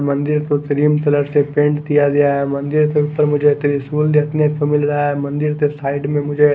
मंदिर को cream colour से पेंट किया गया है मंदिर के ऊपर मुझे त्रिशूल देखने को मिल रहा है मंदिर के साइड में मुझे--